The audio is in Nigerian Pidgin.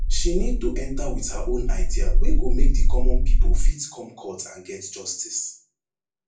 she need to enta wit her own idea wey go make di common pipo fit come court and get justice